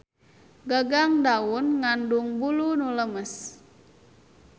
Gagang daun ngandung bulu nu lemes.